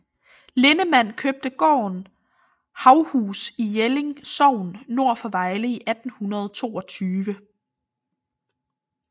Linnemann købte gården Haughus i Jelling Sogn nord for Vejle i 1822